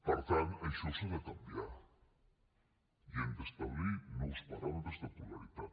per tant això s’ha de canviar i hem d’establir nous paràmetres de pluralitat